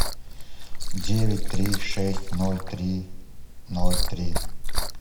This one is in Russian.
девять три шесть ноль три ноль три